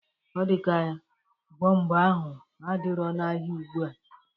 Ọ dị ya ka bọmpa ahụ adirọ n'ahịa ugbua.